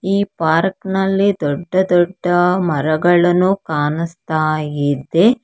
ಈ ಪಾರ್ಕ್ ನಲ್ಲಿ ದೊಡ್ಡ ದೊಡ್ಡ ಮರಗಳನ್ನು ಕಾಣುಸ್ತಾ ಇದೆ.